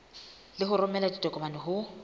le ho romela ditokomane ho